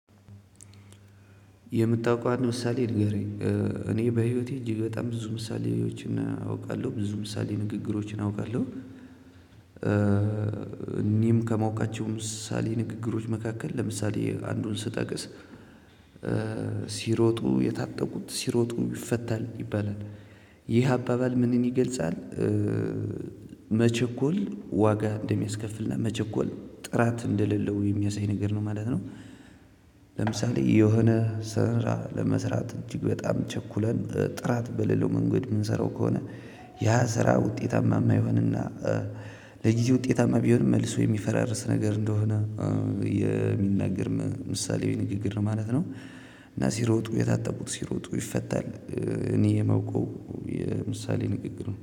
የምታውቀው አንድ ምሳሌ ንገረኝ እኔ በህይወቴ እጅግ በጣም ብዙ ምሳሌዎችና አውቃለሁ ብዙ ምሳሌ ንግግሮችን አውቃለሁ። እኒህም ከማውቃቸው ምሳሌ ንግግሮች መካከል ለምሳሌ አንዱን ስጠቅስ ሲሮጡ የታጠቁት ሲሮጡም ይፈታል ይባላል የሄ አባባል ምንን የገልጻል? መቸኮል ዋጋ እንደሚያስከፍልና መቸኮል ጥራት እንደሌለው የሚያሳይ ነገር ነው ማለት ነው። ለምሳሌ የሆነ ስራ ለመስራት እጅግ በጣም ቸኩለን ጥራት በሌለው መንገድ ምንሰራው ከሆነ ያ ስራ ውጤታማ ማይሆንና። ለጊዜ ውጤታማ ቢሆንም መልሶ የሚፈራርስ ነገር እንደሆነ የሚናገር ምሳሌያዊ ንግግር ነው ማለት ነው። እና ሲሮጡ የታጠቁት ሲሮጡ ይፈታል እኔ የማውቀው የምሳሌአዊ ንግግር ነው